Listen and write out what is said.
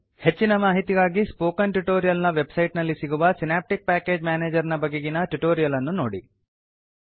ಹೆಚ್ಚಿನ ಮಾಹಿತಿಗಾಗಿ spoken tutorial ನ ವೆಬ್ಸೈಟ್ ನಲ್ಲಿ ಸಿಗುವ ಸಿನಾಪ್ಟಿಕ್ ಪ್ಯಾಕೇಜ್ ಮೇನೇಜರ್ ನ ಬಗೆಗಿನ ಟ್ಯುಟೋರಿಯಲ್ ಅನ್ನು ನೋಡಿ